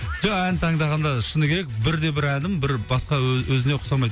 жоқ ән таңдағанда шыны керек бір де бір әнім бір басқа ө өзіне ұқсамайды